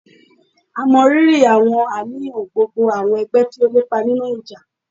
À mọ riri àwọn àníyàn gbogbo àwọn ẹgbẹ tí ó lépa nínú ìjà.